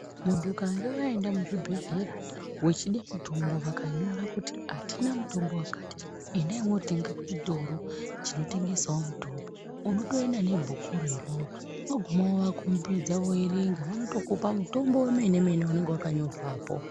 Muntu ukange waenda muzvibhedhlera wechida mutombo vakanyora kuti atina mutombo wakati endai motenga kuchitoro chinotengesawo mutombo unotoenda nebhukuwo iroro waguma wovakombidza voerenga vanotokupa mutombo wemene mene unenge wakanyorwapo.